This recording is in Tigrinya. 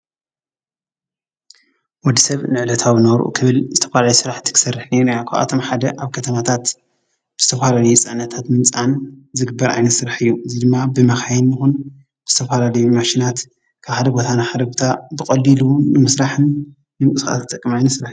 ወዲ ሰብ ንዕለታዊ ናብርኡ ክብል ዝተፈላለየ ስራሕቲ ክሰርሕ ርኢናዮ ኢና። ካብኣቶም ሓደ ኣብ ከተማታት ዝተፈላለየ ፅዕነታት ብምፅዓን ዝርከብ ዓይነት ስራሕ እዩ። እዙይ ድማ ብመካይን ይኩን ዝተፈላለዩ ማሽናት ካብ ሓደ ቦታ ናብ ሓደ ቦታ ብቀሊሉ ንምስራሕ ንምንቅስቃሳትን ዝጠቅም ዓይነት ስራሕ እዩ።